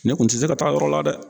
Ne kun tɛ se ka taa yɔrɔ la dɛ.